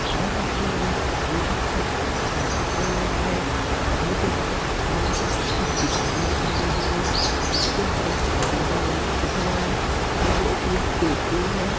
यह तस्वीर में मुझे एक घर दिखाई दे रहा है घर के बाहर यहाँ पे कुछ दुकाने दिखाई दे रही है जिसके ऊपर बेकर वर्ल्ड लिखा हुआ है मतलब एक ये बेकरी है।